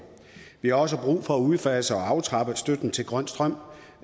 vi har også brug for at udfase og aftrappe støtten til grøn strøm